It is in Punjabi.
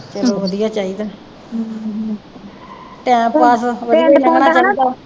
ਚਲੋ ਵਧੀਆ ਚਾਹੀਦਾ ਟਾਇਮ ਪਾਸ ਵਧੀਆ ਈ ਲੰਗਣਾ ਚਾਹੀਦਾ ਵਾ